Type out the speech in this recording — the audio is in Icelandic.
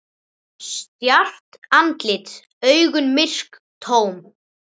Stjarft andlit, augun myrk, tóm.